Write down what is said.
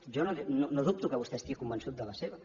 jo no dubto que vostè estigui convençut de la seva